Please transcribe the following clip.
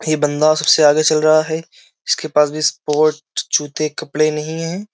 ये बंदा सबसे आगे चल रहा है इसके पास भी स्पोर्ट जूते कपड़े नहीं हैं।